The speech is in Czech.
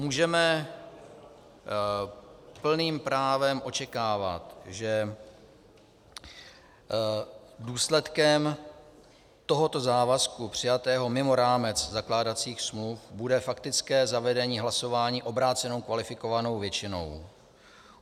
Můžeme plným právem očekávat, že důsledkem tohoto závazku přijatého mimo rámec zakládacích smluv bude faktické zavedení hlasování obrácenou kvalifikovanou většinou.